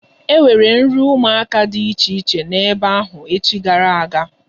E nwere nri ụmụaka dị iche iche nọ ebe ahụ echi gara aga.